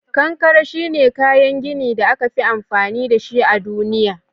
Kankare shine kayan gini da aka fi amfani dashi a duniya.